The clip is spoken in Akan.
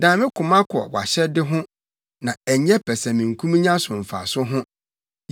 Dan me koma kɔ wʼahyɛde ho na ɛnyɛ pɛsɛmenkominya so mfaso ho.